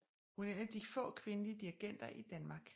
Hun er en af de få kvindelige dirigenter i Danmark